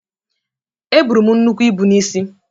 Eburu m nnukwu ibu n’isi